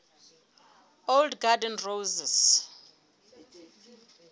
old garden roses